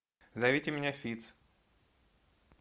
зовите меня фитц